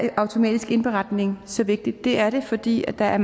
er automatisk indberetning så vigtigt det er det fordi der er